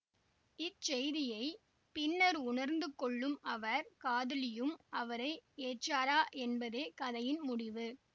இச்செய்தியை பின்னர் உணர்ந்து கொள்ளும் அவர் காதலியும் அவரை ஏற்றாரா என்பதே கதையின் முடிவு